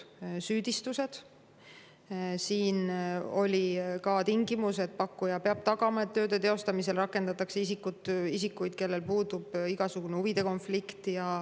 oli ka tingimus, et pakkuja peab tagama, et tööde teostamisel rakendataks isikuid, kellel puudub igasugune huvide konflikt.